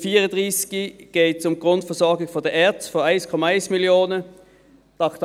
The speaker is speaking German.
Beim Traktandum 34 geht es um die Grundversorgung der ERZ von 1,1 Mio. Franken.